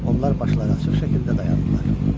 Onlar başları açıq şəkildə dayandılar.